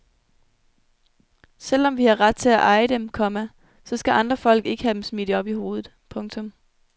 Selv om vi har ret til at eje dem, komma så skal andre folk ikke have dem smidt op i hovedet. punktum